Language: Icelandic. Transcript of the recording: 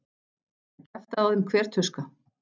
Það kjaftaði á þeim hver tuska.